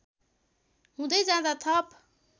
हुँदै जाँदा थप